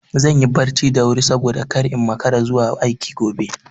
Zan yi barci da wuri saboda kar in makara zuwa aiki gobe.